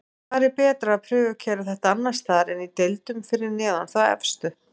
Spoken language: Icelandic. Hvar er betra að prufukeyra þetta annarsstaðar en í deildum fyrir neðan þá efstu??